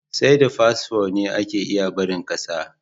Sai da fasfo ne ake iya barin ƙasa.